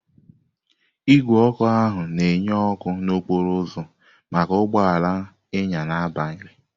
Igwe ọkụ ihu na-enye ọkụ n'okporo ụzọ maka ụgbọ ala ịnya n'abalị.